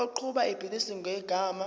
oqhuba ibhizinisi ngegama